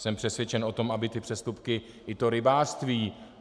Jsem přesvědčen o tom, aby ty přestupky, i to rybářství...